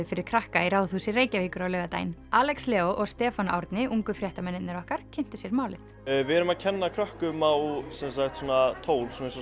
fyrir krakka í Ráðhúsi Reykjavíkur á laugardaginn Alex Leó og Stefán Árni ungu fréttamennirnir okkar kynntu sér málið við erum að kenna krökkum á svona tól eins og